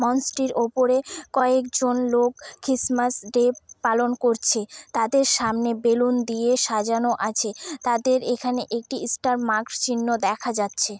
মঞ্চ -টির ওপরে কয়েকজন লোক ক্রিসমাস ডে পালন করছে তাদের সামনে বেলুন দিয়ে সাজানো আছে | তাদের এখানে একটি স্টারমার্ক চিহ্ন দেখা যাচ্ছে ।